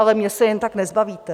Ale mě se jen tak nezbavíte.